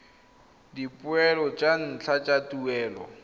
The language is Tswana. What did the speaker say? dipoelo tsa ntlha tsa tuelo